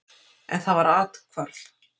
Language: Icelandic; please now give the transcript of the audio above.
En það var athvarf.